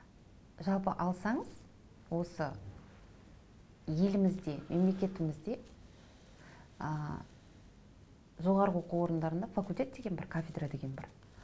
жалпы алсаңыз осы елімізде мемлекетімізде ы жоғары оқу орындарында факультет деген бар кафедра деген бар м